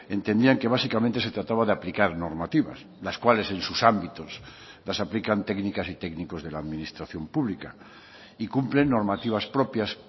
entendían que básicamente se trataba de aplicar normativas las cuales en sus ámbitos las aplican técnicas y técnicos de la administración pública y cumplen normativas propias